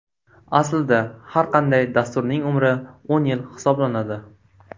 Aslida har qanday dasturning umri o‘n yil hisoblanadi.